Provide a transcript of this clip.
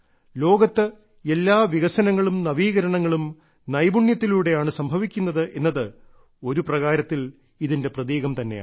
ലോകത്ത് എല്ലാ വികസനങ്ങളും നവീകരണങ്ങളും നൈപുണ്യത്തിലൂടെയാണ് സംഭവിക്കുന്നത് എന്നത് ഒരു പ്രകാരത്തിൽ ഇതിന്റെ പ്രതീകം തന്നെയാണ്